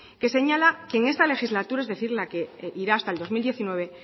que señala que en esta legislatura es decir la que irá hasta el dos mil diecinueve